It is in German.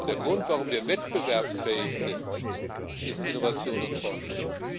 Der Grund, warum wir wettbewerbsfähig sind, sind Innovation und Forschung.